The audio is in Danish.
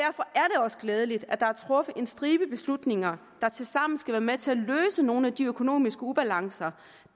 også glædeligt at der er truffet en stribe beslutninger der tilsammen skal være med til at løse nogle af de økonomiske ubalancer